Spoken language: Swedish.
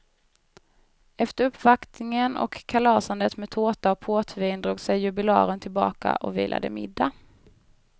Efter uppvaktningen och kalasandet med tårta och portvin drog sig jubilaren tillbaka och vilade middag.